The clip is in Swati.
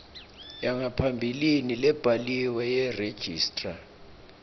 yangaphambilini lebhaliwe yeregistrar